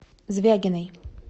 звягиной